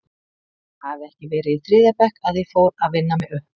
Ætli það hafi ekki verið í þriðja bekk að ég fór að vinna mig upp?